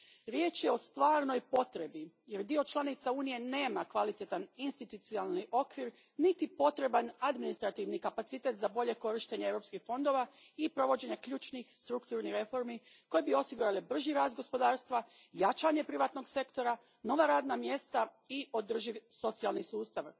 Riječ je o stvarnoj potrebi jer dio članica Unije nema kvalitetan institucionalni okvir niti potreban administrativni kapacitet za bolje korištenje europskih fondova i provođenje ključnih strukturnih reformi koje bi osigurale brži rast gospodarstva, jačanje privatnog sektora, nova radna mjesta i održiv socijalni sustav.